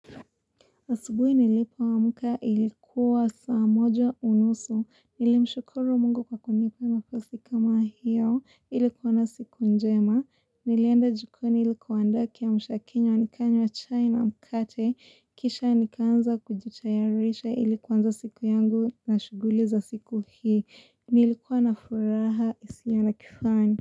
Asubui nilipo amka ilikuwa saa moja unusu, nilimshukuru mungu kwa kunipa nafasi kama hiyo, ilikuwa na siku njema, nilienda jikoni ili kuandaa kiamsha kinywa, nikanywaowa chai na mkate, kisha nikaanza kujutayarisha ili kuanza siku yangu na shuguli za siku hii, nilikuwa na furaha isiyo na kifani.